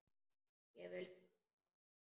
Ég vil þakka honum.